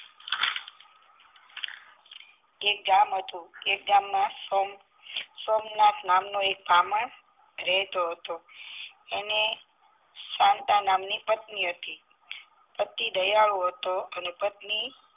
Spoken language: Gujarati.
એક ગામ હતું એ ગામ માં સોમ સોમનાથ નામ નો એક બ્રાહ્મણ રહેતો હતો એને સાન્તા નામ ની પત્ની હતી પતિ દયાળુ હતો અને પત્ની